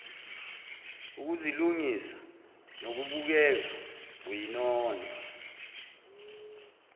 ukuzilungisa nokubukeka uyinono